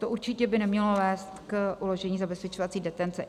To určitě by nemělo vést k uložení zabezpečovací detence.